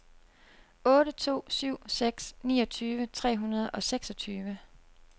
otte to syv seks niogtyve tre hundrede og seksogtyve